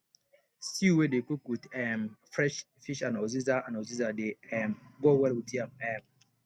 stew wey dey cook with um fresh fish and uziza and uziza dey um go well with yam um